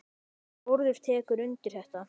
Þórður tekur undir þetta.